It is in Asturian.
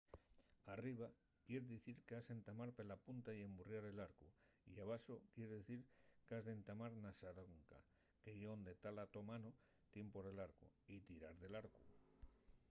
arriba quier dicir qu’has entamar pela punta y emburriar l’arcu y abaxo quier dicir qu’has d’entamar na xaronca que ye onde la to mano tien pol arcu y tirar del arcu